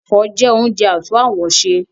Ẹ̀fọ́ jẹ́ oúnjẹ àtún àwọ̀ ṣe